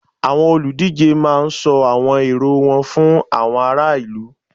Àwọn olùdíje máá ń sọ àwọn èrò wọn fún àwọn ará ìlú